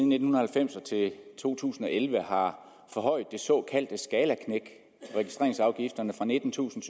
nitten halvfems og til to tusind og elleve har forhøjet det såkaldte skalaknæk registreringsafgifterne fra nittentusinde